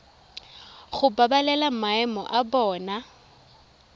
go babalela maemo a bona